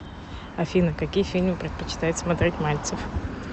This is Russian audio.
афина какие фильмы предпочитает смотреть мальцев